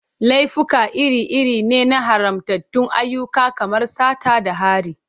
Laifuka iri-iri ne na haramtattun ayyuka kamar sata da hari.